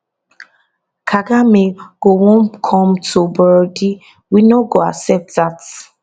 [kagame] go wan come to burundi we no go accept dat